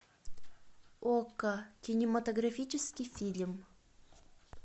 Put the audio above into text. окко кинематографический фильм